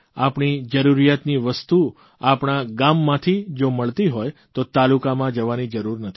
આપણી જરૂરિયાતની વસ્તુ આપણા ગામમાંથી જો મળતી હોય તો તાલુકામાં જવાની જરૂર નથી